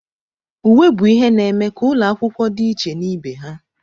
Uwe bụ ihe na-eme ka ụlọ akwụkwọ dị iche na ibe ha.